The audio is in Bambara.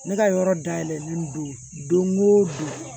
Ne ka yɔrɔ dayɛlɛlen don don o don